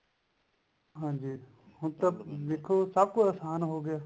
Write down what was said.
ਹਾਂਜੀ ਹੁਣ ਤਾਂ ਦੇਖੋ ਸਬ ਕੁੱਛ ਆਸਾਨ ਹੋ ਗਿਆ